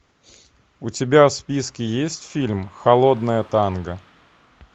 у тебя в списке есть фильм холодное танго